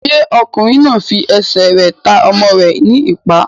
Ṣé ọkùnrin náà n fi ẹsẹ̀ rẹ̀ ta ọmọ rẹ̀ ní ìpá?